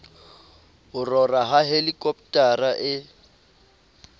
ho rora ha helikopotara e